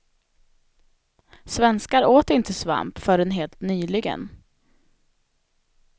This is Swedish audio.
Svenskar åt inte svamp förrän helt nyligen.